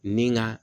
Ni ŋa